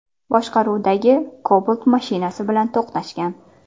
boshqaruvidagi Cobalt mashinasi bilan to‘qnashgan.